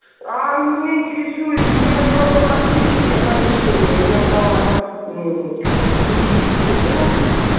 а мне интересует я хотела бы отключить оповещение я брала мм как бы в кредит телефон